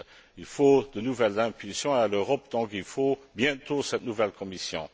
Il faut de nouvelles impulsions à l'Europe, il faut donc bientôt cette nouvelle Commission.